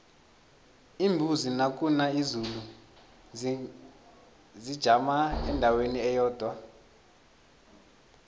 iimbuzi nakuna izulu zijama endaweni eyodwa